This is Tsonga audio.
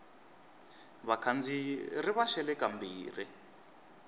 vakhandziyi ri va xele kambirhi